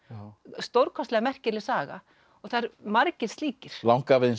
stórkostlega merkileg saga og það eru margir slíkir langafi þinn sem